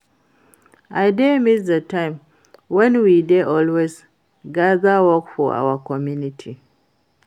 I dey miss the time wen we dey always gather work for our community